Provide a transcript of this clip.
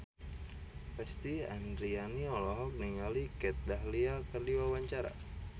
Lesti Andryani olohok ningali Kat Dahlia keur diwawancara